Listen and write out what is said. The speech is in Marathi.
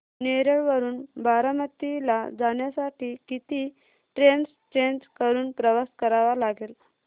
नेरळ वरून बारामती ला जाण्यासाठी किती ट्रेन्स चेंज करून प्रवास करावा लागेल